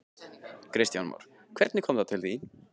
Kristján Már: Hvernig kom það til?